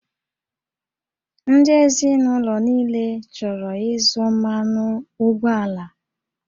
Ndị ezinụlọ niile chọrọ ịzụ mmanụ ụgbọala